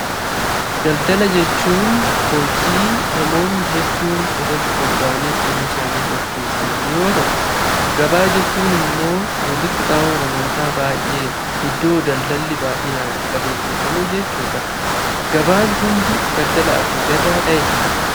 Daldala jechuun hojii namoonni hedduun irratti bobba'anii jiruu isaanii gaggeessan yoo ta'u, gabaa jechuun immoo walitti qabama namoota baay'ee, iddoo daldalli baay'inaan itti adeemsifamu jechuudha. Gabaan hundi daldalaaf mijataadhaayi?